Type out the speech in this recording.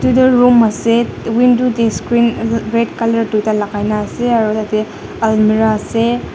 edu tu room ase window de screen red color duita laga na ase aro yede almirah ase.